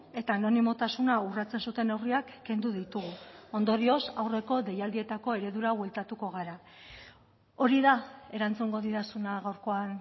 eta anonimotasuna urratzen zuten neurriak kendu ditugu ondorioz aurreko deialdietako eredura bueltatuko gara hori da erantzungo didazuna gaurkoan